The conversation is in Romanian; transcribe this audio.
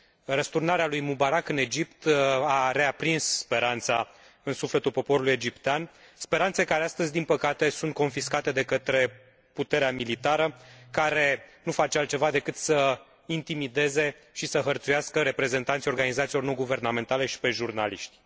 Răsturnarea lui Mubarak în Egipt a reaprins speranța în sufletul poporului egiptean, speranțe care astăzi, din păcate, sunt confiscate de către puterea militară, care nu face altceva decât să intimideze și să hărțuiască reprezentanții organizațiilor non guvernamentale și pe jurnaliști.